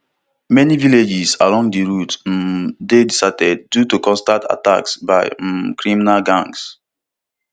many villages along di route um dey deserted due to constant attacks by um criminal gangs